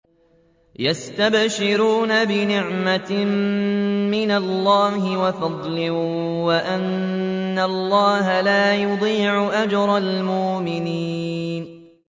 ۞ يَسْتَبْشِرُونَ بِنِعْمَةٍ مِّنَ اللَّهِ وَفَضْلٍ وَأَنَّ اللَّهَ لَا يُضِيعُ أَجْرَ الْمُؤْمِنِينَ